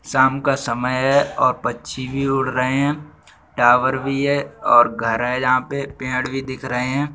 सायं का समय है और पंछी भी उड़ रहे हैं टावर भी है और घर है यहाँ पे पेड़ भी दिख रहे हैं।